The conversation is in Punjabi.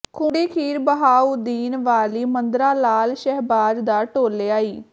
ਖੂੰਡੀ ਪੀਰ ਬਹਾਉਦੀਨ ਵਾਲੀ ਮੰਦਰਾ ਲਾਲ ਸ਼ਹਿਬਾਜ਼ ਦਾ ਟੋਲਿਆ ਈ